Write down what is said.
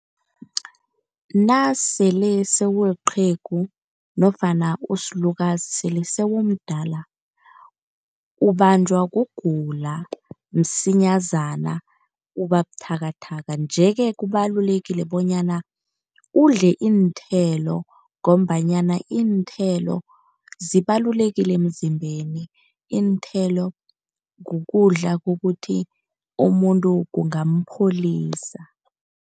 Nasele sewuliqhegu nofana usilukazi sele sewumdala ubanjwa kugula msinyazana, uba buthakathaka. Nje-ke kubalulekile bonyana udle iinthelo ngombanyana iinthelo zibalulekile emzimbeni. Iinthelo kukudla kokuthi umuntu kungampholisa.